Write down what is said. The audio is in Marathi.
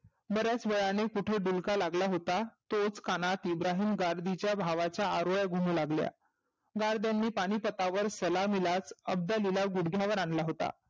बर्याच वेळाने कुठे डुलका लागला होता. तोच कानात इब्राहीम गाजबीच्या भावाच्या आरोळ्या गुमू लागल्या. गारदांनी पानीपतावर सलामीलाचं अब्दागीला गुढग्यावर आनला होता.